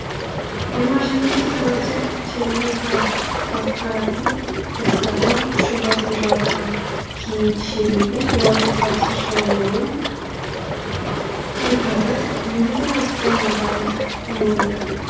жиырма жетінші сәуірде черненко басқаратын эскадрон күші басым жаудан кейін шегінбей олардың қарсы шабуылын тойтарып елуден астам адамын жойды